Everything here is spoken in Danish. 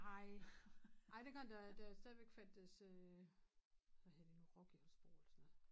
Nej ej dengang der der stadigvæk fandtes øh hvad hed det nu rock i Holstebro eller sådan noget